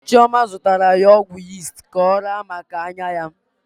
Chioma zụtara ya ọgwụ yist ka ọ raa maka anya ya.